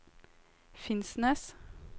Finnsnes